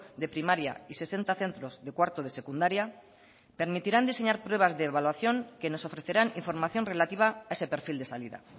de primaria y sesenta centros de cuarto de secundaria permitirán diseñar pruebas de evaluación que nos ofrecerán información relativa a ese perfil de salida